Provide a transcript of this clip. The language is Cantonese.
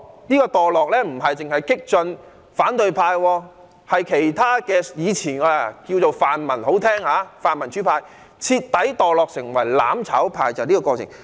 這種墮落不限於激進反對派，連以前被稱為泛民主派的人士，也徹底墮落成為"攬炒派"，正正就是這個過程。